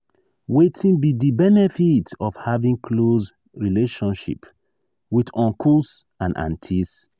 wetin be di benefit of having close relationship with uncles and aunties?